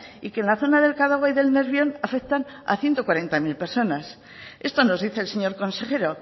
y que en la zona del cadagua y del nervión afectan a ciento cuarenta mil personas esto nos dice el señor consejero